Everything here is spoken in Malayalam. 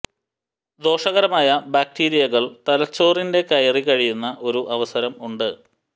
ദോഷകരമായ ബാക്ടീരിയകൾ തലച്ചോറിന്റെ കയറി കഴിയുന്ന ഒരു അവസരം ഉണ്ട്